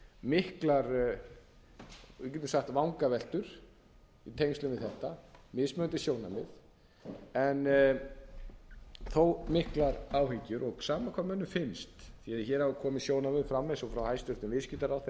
miklar við getum sagt vangaveltur í tengslum við þetta mismunandi sjónarmið en þó miklar áhyggjur sama hvað mönnum finnst því að hér hafa komið sjónarmið fram eins og frá hæstvirtur viðskiptaráðherra í